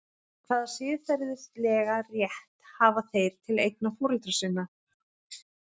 Hvaða siðferðilega rétt hafa þeir til eigna foreldra sinna?